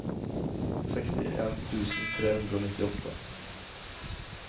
sekstien tusen tre hundre og nittiåtte